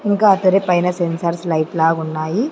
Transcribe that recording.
ఇంకా అక్కడే పైన సెన్సార్ లైట్ లాగున్నాయి.